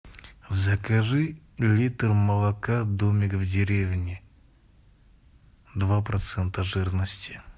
закажи литр молока домик в деревне два процента жирности